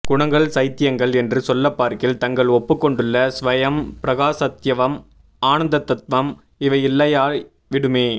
குணங்கள் சைத்யங்கள் என்று சொல்லப் பார்க்கில் தங்கள் ஒப்புக் கொண்டுள்ள ஸ்வயம் பிரகாசத்வம் ஆனந்தத்வம் இவை இல்லையாய் விடுமே